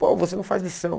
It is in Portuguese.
Pô, você não faz lição.